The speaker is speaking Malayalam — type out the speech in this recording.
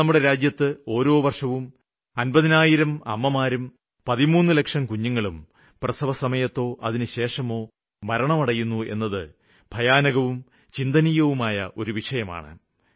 ഇന്ന് നമ്മുടെ രാജ്യത്ത് ഓരോ ആണ്ടിലും അന്പതിനായിരം അമ്മമാരും പതിമൂന്ന് ലക്ഷം കുഞ്ഞുങ്ങളും പ്രസവസമയത്തോ അതിനു ശേഷമോ മരണമടയുന്നു എന്നത് ഭയാനകവും ചിന്തനീയവുമായ ഒരു വിഷയമാണ്